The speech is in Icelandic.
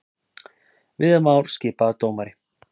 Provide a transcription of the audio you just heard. Viðar Már skipaður dómari